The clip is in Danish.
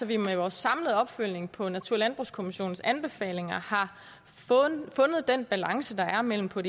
vi med vores samlede opfølgning på natur og landbrugskommissionens anbefalinger har fundet den balance der er mellem på